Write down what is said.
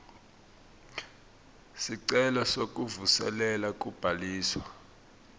sicelo sekuvuselela kubhaliswa